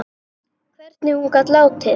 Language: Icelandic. Hvernig hún gat látið.